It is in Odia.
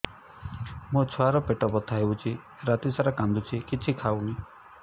ମୋ ଛୁଆ ର ପେଟ ବଥା ହଉଚି ରାତିସାରା କାନ୍ଦୁଚି କିଛି ଖାଉନି